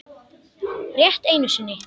Rétt einu sinni.